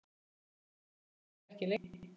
Sú gleði varði ekki lengi.